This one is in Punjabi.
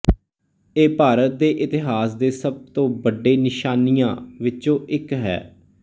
ਇਹ ਭਾਰਤ ਦੇ ਇਤਿਹਾਸ ਦੇ ਸਭ ਤੋਂ ਵੱਡੇ ਨਿਸ਼ਾਨੀਆਂ ਵਿਚੋਂ ਇੱਕ ਹੈ